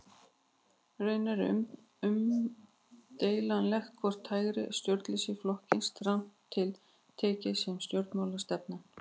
Raunar er umdeilanlegt hvort hægra stjórnleysi flokkist strangt til tekið sem stjórnmálastefna.